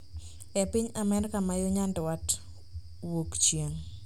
e piny Amerka ma yo nyandwat-wuok chieng’.